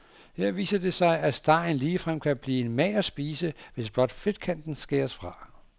Her viser det sig, at stegen ligefrem kan blive en mager spise, hvis blot fedtkanten skæres fra.